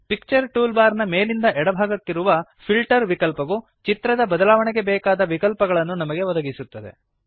picture tool bar ನ ಮೇಲಿಂದ ಎಡ ಭಾಗದಲ್ಲಿರುವ ಫಿಲ್ಟರ್ ವಿಕಲ್ಪವು ಚಿತ್ರದ ಬದಲಾವಣೆಗೆ ಬೇಕಾದ ವಿಕಲ್ಪಗಳನ್ನು ನಮಗೆ ಒದಗಿಸುತ್ತದೆ